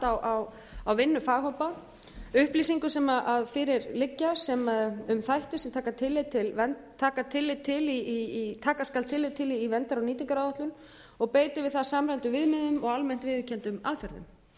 á vinnu faghópa upplýsingu sem fyrir liggja um þætti sem taka skal tillit til í verndar og nýtingaráætlun og beiti við það samræmdum viðmiðum og almennt viðurkenndum aðferðum